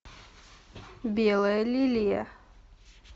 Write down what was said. белая лилия